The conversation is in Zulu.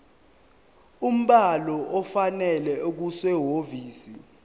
umbhalo ofanele okusehhovisi